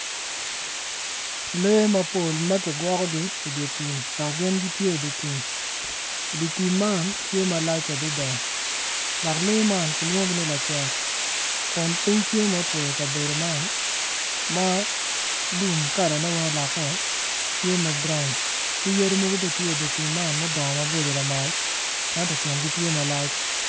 Lee mapol ma kigwokogi i dye tim dok gitye i dye tim dye tim man tye malac adada dok lee man kilwongogi ni lacek kun piny tye ma otwo i kabedo man lum kalane weng oloke